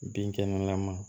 Bin kɛnɛ lama